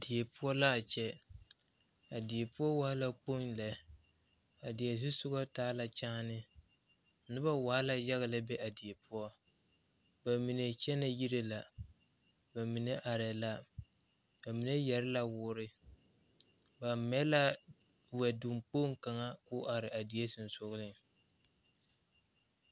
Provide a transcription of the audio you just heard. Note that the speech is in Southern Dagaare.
Die poɔ la a kyɛ a die poɔ waa la kpoŋ lɛ a die zu sɔga taa la kyaani noba waa la yaga a be a die poɔ ba mine kyɛnɛ yiri la ba mine arɛɛ la ba mine yɛre la woore ba mɛ la wɛdoŋ kpoŋ kaŋa ka o are a die sensɔgleŋ.